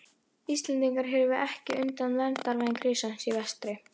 Íslendingar hyrfu ekki undan verndarvæng risans í vestri!